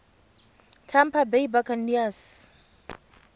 tampa bay buccaneers